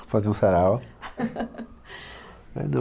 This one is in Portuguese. Fazer um sarau. É não